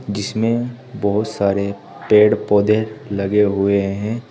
जिसमें बहुत सारे पेड़ पौधे लगे हुए हैं।